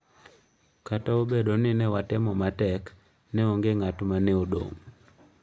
"""Kata obedo ni ne watemo matek, ne onge ng'at mane odong'."""